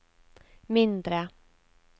mindre